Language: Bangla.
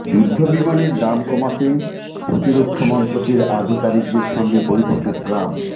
যুদ্ধ বিমানের দাম কমাতে প্রতিরক্ষা মন্ত্রকের আধিকারিকদের সঙ্গে বৈঠকে ট্রাম্প